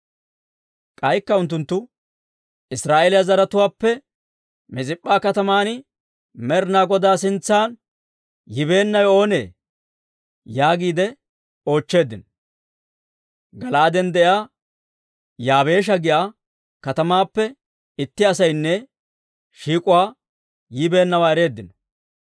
K'aykka unttunttu, «Israa'eeliyaa zaratuwaappe Mis'ip'p'a kataman Med'inaa Godaa sintsa yibeennawe oonee?» yaagiide oochcheeddino. Gala'aaden de'iyaa Yaabeesha giyaa katamaappe itti asaynne shiik'uwaa yibeennawaa ereeddino.